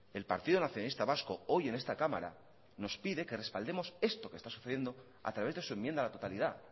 el partido nacionalista vasco hoy en esta cámara nos pide esto que está sucediendo a través de su enmienda a la totalidad